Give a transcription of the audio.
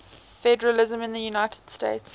federalism in the united states